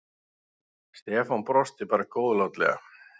Stefán brosti bara góðlátlega.